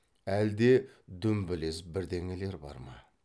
әлде дүмбілез бірдеңелер бар ма